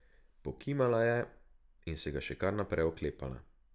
Pokimala je, in se ga še kar naprej oklepala.